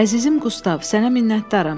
Əzizim Qustav, sənə minnətdaram.